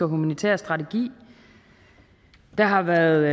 humanitære strategi der har været